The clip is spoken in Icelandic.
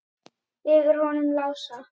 Yfir honum Lása?